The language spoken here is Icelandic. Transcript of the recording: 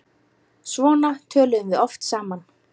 Svona töluðum við oft saman.